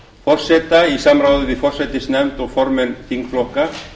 forseta í samráði við forsætisnefnd og formenn þingflokka